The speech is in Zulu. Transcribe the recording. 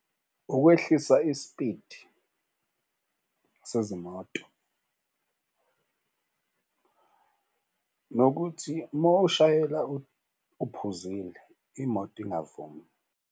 Ukwehlisa ispidi sezimoto nokuthi uma ushayela uphuzile imoto ingavumi.